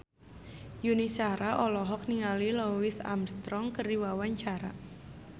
Yuni Shara olohok ningali Louis Armstrong keur diwawancara